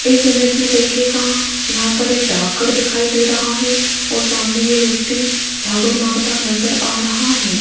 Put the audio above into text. इस इमेज में देखिएगा यहां पर एक डाकघर दिखाई दे रहा है और सामने ये व्यक्ति झाड़ू मारता नजर आ रहा है।